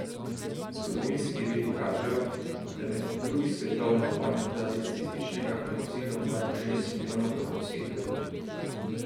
Zgodovinski viri kažejo, da je med drugi svetovno vojno zaradi nacističnega genocida umrlo šest milijonov evropskih Judov.